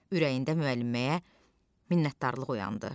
Ürəyində müəlliməyə minnətdarlıq oyandı.